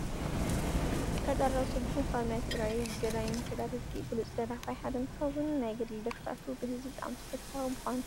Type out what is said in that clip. ጠርጣራው ስቡሕ ካብ ናይ ትግራይ ገዳይም ተጋደልቲ ብሉፅ ደራፋይ ሓደ እንትከውን፣ ናይ ገድሊ ደርፍታቱ ብህዝቢ ብጣዕሚ ተፈታዊ ምኳኑ ትፈልጡ ዶ?